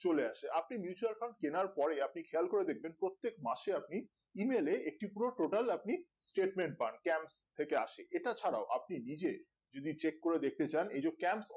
চলে আসে আপনি mutual fund কেনার পরে আপনি খেয়াল করে দেখবেন প্রত্যেক মাসে আপনি email এ একটি পুরো total আপনি stetement পান camp থেকে আসে এটা ছাড়া আপনি নিজে যদি চেক করে দেখতে চান এই যে camp